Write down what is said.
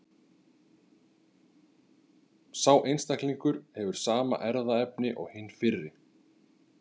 Sá einstaklingur hefur sama erfðaefni og hinn fyrri.